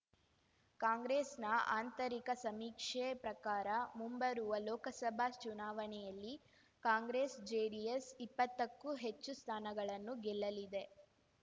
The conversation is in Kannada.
ಕಾಂಗ್ರೆಸ್‌ನ ಆಂತರಿಕ ಸಮೀಕ್ಷೆ ಪ್ರಕಾರ ಮುಂಬರುವ ಲೋಕಸಭಾ ಚುನಾವಣೆಯಲ್ಲಿ ಕಾಂಗ್ರೆಸ್ ಜೆಡಿಎಸ್ ಇಪ್ಪತ್ತಕ್ಕೂ ಹೆಚ್ಚು ಸ್ಥಾನಗಳನ್ನು ಗೆಲ್ಲಲಿದೆ